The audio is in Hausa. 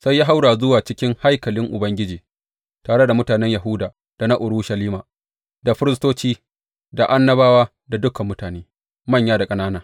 Sai ya haura zuwa cikin haikalin Ubangiji tare da mutanen Yahuda, da na Urushalima, da firistoci, da annabawa, dukan mutane, manya da ƙanana.